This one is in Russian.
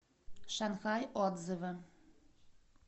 шанхай отзывы